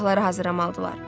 Silahları hazırlamalıdırlar.